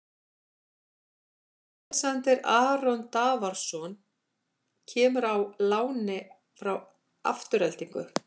Alexander Aron Davorsson kemur á láni frá Aftureldingu.